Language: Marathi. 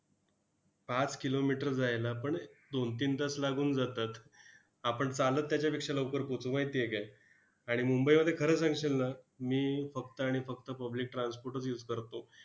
पाच kilometer जायला पण दोन तीन तास लागून जातात. आपण चालत त्याच्यापेक्षा लवकर पोहोचू, माहिती आहे काय? आणि मुंबईमध्ये खरं सांगशील ना, मी फक्त आणि फक्त public transport च use करतो.